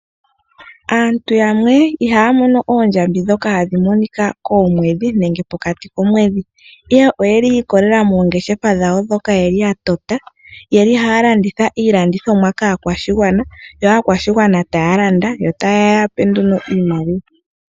Aantu yamwe ihaya mono oondjambi ndhoka hadhi monika komwedhi nenge pokati komwedhi. Ihe oyeli yiikolelela mongeshefa dhawo ndhoka yeli yatota . Oyeli haya landitha iilandomwa kaakwashigwana. Yo aakwashigwana taya landa yo taya gandja iimaliwa.